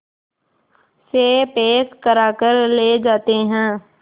से पैक कराकर ले जाते हैं